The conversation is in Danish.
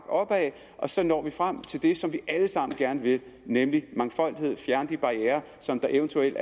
opad og så når vi frem til det som vi alle sammen gerne vil nemlig mangfoldighed altså fjerne de barrierer som eventuelt